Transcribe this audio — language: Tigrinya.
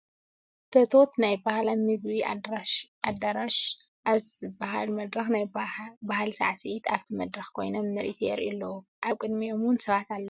ቶቶት ናይ ባህላዊ ምግቢ ኣደራሽ ኣብ ዝብሃል መድረክ ናይ ባህሊ ሳዕሳዒቲ ኣብቲ መድረክ ኮይኖም ምርኢት የርእዩ ኣለው። ኣብ ቅዲሚኦም እውን ሰባት ኣለው።